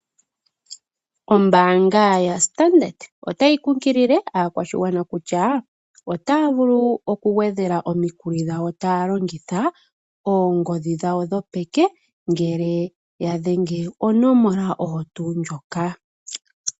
Ombaanga yaStandard otayi tseyithile aakwashigwana kutya otaya vulu okugwedhela omikuli dhawo taya longitha oongodhi dhawo dhopeke ngele ya dhengele konomola oyo tu ndjoka.